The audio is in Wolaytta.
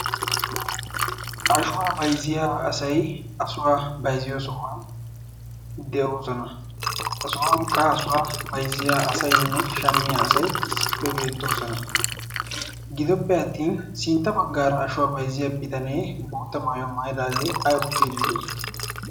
ashuwaa bayzziya asay asuwaa baiziyo so'uwan de'oosona asuhuwankka asuwaa baizziya asayinne shammiya asai issippe beettoosona. gidoppe attin sintta baggaara ashuwaa baizziya bitanee bootta maayu maidaagee ay oottiidee?